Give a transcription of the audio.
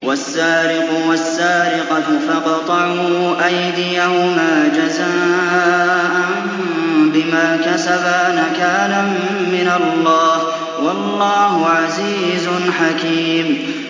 وَالسَّارِقُ وَالسَّارِقَةُ فَاقْطَعُوا أَيْدِيَهُمَا جَزَاءً بِمَا كَسَبَا نَكَالًا مِّنَ اللَّهِ ۗ وَاللَّهُ عَزِيزٌ حَكِيمٌ